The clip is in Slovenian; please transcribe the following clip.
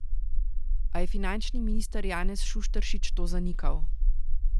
A je finančni minister Janez Šušteršič to zanikal.